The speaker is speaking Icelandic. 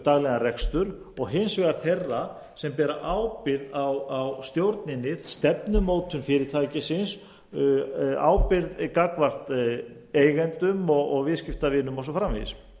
daglegan rekstur og hins vegar þeirra sem bera ábyrgð á stjórninni stefnumótun fyrirtækisins ábyrgð gagnvart eigendum og viðskiptavinum og svo